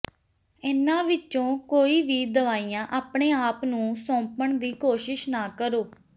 ਇਹਨਾਂ ਵਿੱਚੋਂ ਕੋਈ ਵੀ ਦਵਾਈਆਂ ਆਪਣੇ ਆਪ ਨੂੰ ਸੌਂਪਣ ਦੀ ਕੋਸ਼ਿਸ਼ ਨਾ ਕਰੋ